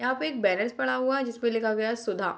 यहाँ पे एक बैनर्स पड़ा हुआ है जिस पर लिखा हुआ है सुधा।